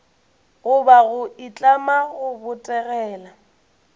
goba go itlama go botegela